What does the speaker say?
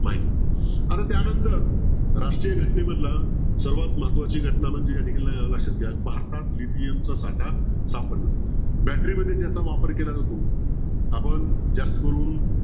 माहित आता त्यानंतर राष्ट्रीय घटनेमधला सर्वात महत्वाची घटना म्हणजे या ठिकाणी लक्ष्यात घ्या भारतात चा साकार सापडला battery मध्ये ज्याचा वापर केला जातो आपण जास्त करून